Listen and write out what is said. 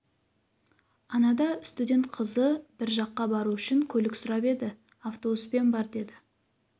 анада студент қызы бір жаққа бару үшін көлік сұрап еді автобуспен бар деді